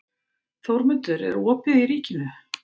Þórmundur, er opið í Ríkinu?